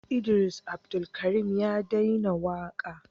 Idris Abdulkarim ya dena waka